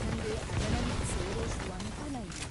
ನಂಗೆ ಅಕಾಡೆಮಿಗ್ ಸೇರೋಷ್ಟು ಅನುಕೂಲ ಇಲ್ಲ.